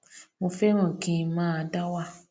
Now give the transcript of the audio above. mo féràn kí n máa dá wà